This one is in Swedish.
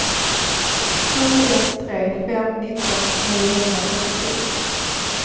sju ett tre fem nitton niohundratrettiosju